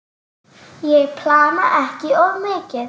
Ég plana ekki of mikið.